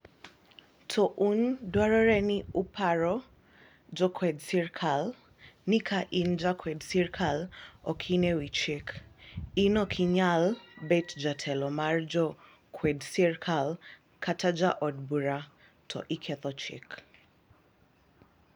" To un dwarore ni uparo ni jokwed sirikal ni ka in ja kwed sirikal ok in e wi chik , in okinyal bet jetelo mar jo kwed sirikal kata ja od bura to iketho chik.